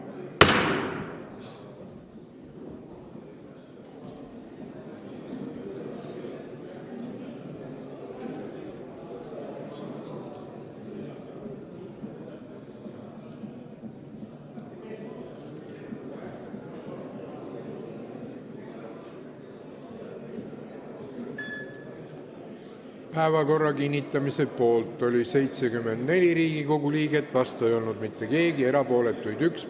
Hääletustulemused Päevakorra kinnitamise poolt oli 74 Riigikogu liiget, vastu ei olnud mitte keegi, erapooletuks jäi 1.